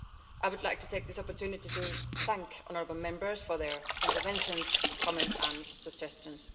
I would like to take this opportunity to thank the honourable Members for their interventions, comments and suggestions.